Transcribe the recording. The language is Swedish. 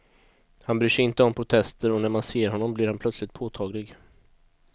Han bryr sig inte om protester och när man ser honom blir han plötsligt påtaglig.